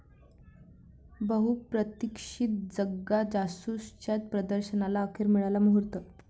बहुप्रतीक्षित 'जग्गा जासूस'च्या प्रदर्शनाला अखेर मिळाला मुहूर्त